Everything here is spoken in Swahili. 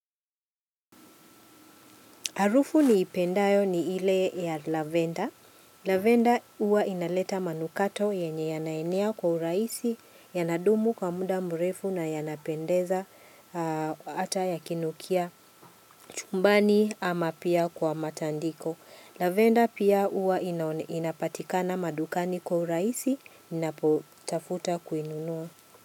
Harufu niipendayo ni ile ya lavenda. Lavenda huwa inaleta manukato yenye yanayenia kwa uraisi, yanadumu kwa muda mrefu na yanapendeza ata yakinukia chumbani ama pia kwa matandiko. Lavenda pia uwa inapatikana madukani kwa uraisi, ninapotafuta kuinunua.